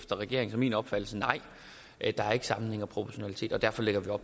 regeringens og min opfattelse nej der er ikke sammenhæng og proportionalitet og derfor lægger